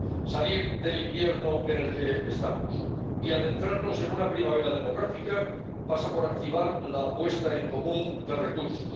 Salir del invierno en el que estamos y adentrarnos en una primavera demográfica pasa por activar la puesta en común de recursos.